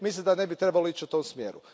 Mislim da ne bi trebalo ići u tome smjeru.